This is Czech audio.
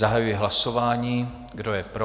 Zahajuji hlasování, kdo je pro?